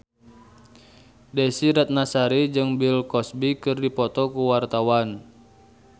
Desy Ratnasari jeung Bill Cosby keur dipoto ku wartawan